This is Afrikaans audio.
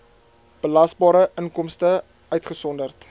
belasbare inkomste uitgesonderd